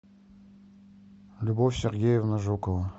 любовь сергеевна жукова